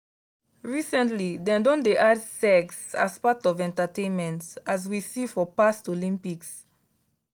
recently dem don dey add sex as part of entertainment as we see for past olympics.